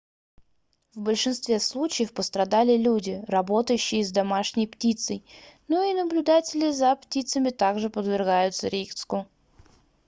в большинстве случаев пострадали люди работающие с домашней птицей но и наблюдатели за птицами также подвергаются риску